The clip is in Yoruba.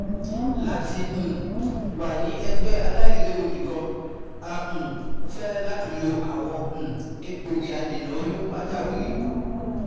lati um wa ni ẹgbẹ ailewu nikan, a um fẹ lati lo awọn um egbogi adena oyun pajawiri